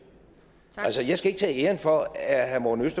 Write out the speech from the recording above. altså jeg skal ikke tage æren for at herre morten